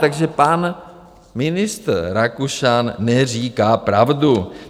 Takže pan ministr Rakušan neříká pravdu.